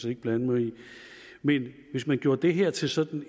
ikke blande mig i men hvis man gjorde det her til sådan